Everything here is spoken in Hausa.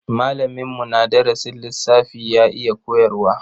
Malaminmu na darasin lissafi ya iya koyarwa.